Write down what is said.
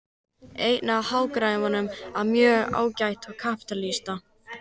Einn af hagfræðingum hinna mjög svo ágætu kapítalista